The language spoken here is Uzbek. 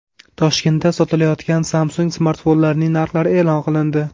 Toshkentda sotilayotgan Samsung smartfonlarining narxlari e’lon qilindi.